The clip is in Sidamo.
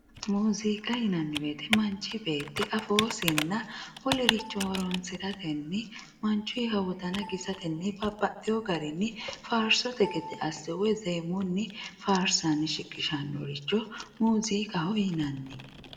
mooziiqa yinanni woyiite manchi beetti afoosinna wolere horoonsiratenni manchuyiiha wodana kisatenni babbaxxewoo garinni faarsote gede asse woy zeemunni faarsanni shiqishannoricho mooziiqaho yinanni